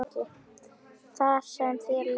Þar sem þér leið best.